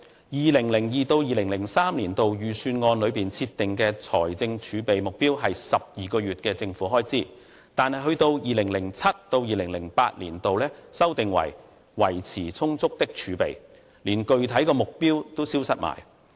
2002-2003 年度預算案內設定的財政儲備目標為12個月政府開支。但是 ，2007-2008 年度修訂為"維持充足的儲備"，連具體目標都消失了。